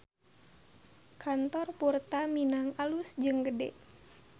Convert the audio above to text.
Kantor Purta Minang alus jeung gede